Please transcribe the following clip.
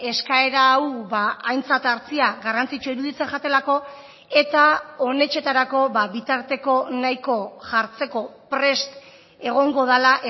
eskaera hau aintzat hartzea garrantzitsua iruditzen jatelako eta honetxetarako bitarteko nahiko jartzeko prest egongo dela